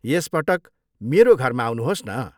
यस पटक मेरो घरमा आउनुहोस् न।